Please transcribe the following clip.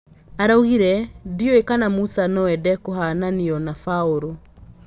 Araugire, "Ndiũĩ kana Musa noende kũhananio na Baũrũ"